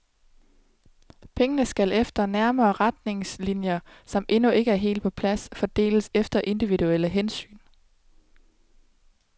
Pengene skal efter nærmere retningslinjer, som endnu ikke er helt på plads, fordeles efter individuelle hensyn.